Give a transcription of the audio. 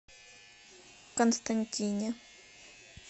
константине